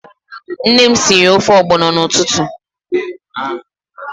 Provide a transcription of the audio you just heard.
Nne m sịrị ofe ogbono n'ụtụtụ.